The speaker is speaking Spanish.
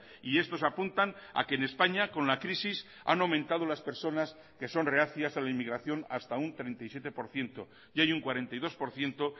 y estos apuntan a que en españa con la crisis han aumentado las personas que son reacias a la inmigración hasta un treinta y siete por ciento y hay un cuarenta y dos por ciento